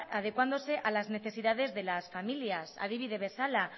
adecuándose a las necesidades de las familias adibide bezala